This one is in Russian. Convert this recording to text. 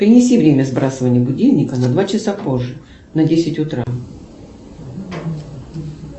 перенеси время сбрасывания будильника на два часа позже на десять утра